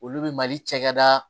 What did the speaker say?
Olu bɛ mali cakɛda